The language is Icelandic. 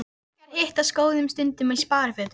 Kunningjar hittast á góðum stundum í sparifötum.